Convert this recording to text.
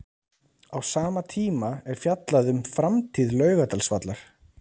Á sama tíma er fjallað um framtíð Laugardalsvallar.